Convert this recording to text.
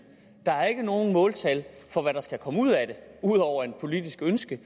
der er ikke nogen måltal for hvad der skal komme ud af det udover et politisk ønske